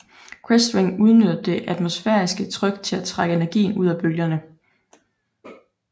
Crestwing udnytter det atmosfæriske tryk til at trække energien ud af bølgerne